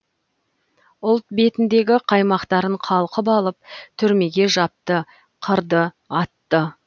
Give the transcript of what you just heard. ұлт белсенді қаймақтарын қалқып алып түрмеге жапты қырды атты